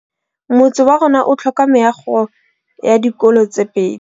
Motse warona o tlhoka meago ya dikolô tse pedi.